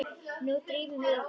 Nú drífum við okkur fram!